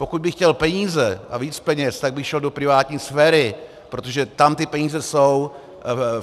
Pokud bych chtěl peníze a víc peněz, tak bych šel do privátní sféry, protože tam ty peníze jsou.